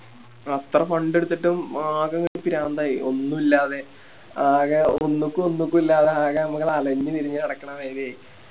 അത്ര Fund എടുത്തിട്ടും ആകെ പ്രാന്തായി ഒന്നുല്ലാതെ ആകെ ഒന്നുക്കൂ ഒന്നുക്കൂ ഇല്ലാതെ ആകെ ഞമ്മള് അലഞ്ഞ് തിരിഞ്ഞ് നടക്കണ മാരിയായി